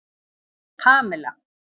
Pamela